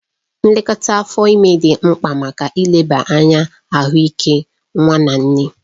Nlekọta afọ ime dị mkpa maka ileba anya ahụike nwa na nne